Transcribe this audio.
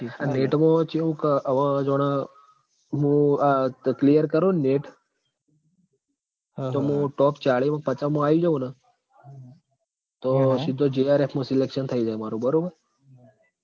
NET માં ચેવું ક અવ જોણ મું આ clear કરું ન NET તો મું top ચાલી-પચામાં આઈ જાઉં ન તો સીધો JRF માં selection થઇ જાય મારુ બરોબર